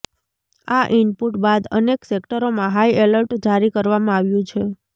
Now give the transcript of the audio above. આ ઇનપૂટ બાદ અનેક સેક્ટરોમાં હાઇ એલર્ટ જારી કરવામાં આવ્યું છે